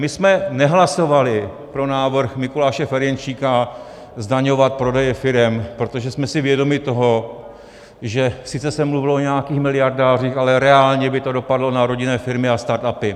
My jsme nehlasovali pro návrh Mikuláše Ferjenčíka zdaňovat prodeje firem, protože jsme si vědomi toho, že sice se mluvilo o nějakých miliardách, ale reálně by to dopadlo na rodinné firmy a startupy.